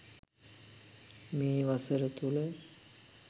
මේ වසර තුළ